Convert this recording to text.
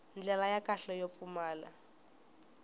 ndlela ya kahle yo pfumala